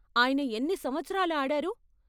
ఆయన ఎన్ని సంవత్సరాలు ఆడారు?